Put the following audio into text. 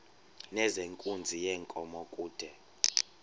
nezenkunzi yenkomo kude